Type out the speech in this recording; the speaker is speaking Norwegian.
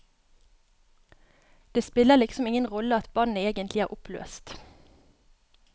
Det spiller liksom ingen rolle at bandet egentlig er oppløst.